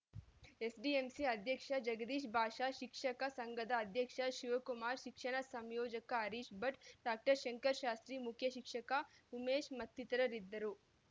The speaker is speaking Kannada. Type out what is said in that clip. ಎಸ್‌ಡಿಎಂಸಿ ಅಧ್ಯಕ್ಷ ಜಗದೀಶ್‌ ಭಾಷಾ ಶಿಕ್ಷಕ ಸಂಘದ ಅಧ್ಯಕ್ಷ ಶಿವಕುಮಾರ್‌ ಶಿಕ್ಷಣ ಸಂಯೋಜಕ ಹರೀಶ ಭಟ್‌ ಡಾಕ್ಟರ್ ಶಂಕರ ಶಾಸ್ತ್ರಿ ಮುಖ್ಯ ಶಿಕ್ಷಕ ಉಮೇಶ ಮತ್ತಿತರರಿದ್ದರು